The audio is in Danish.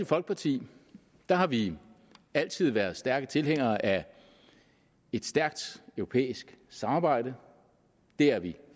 folkeparti har vi altid været stærke tilhængere af et stærkt europæisk samarbejde det er vi